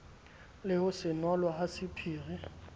le ho senolwa ha sephiri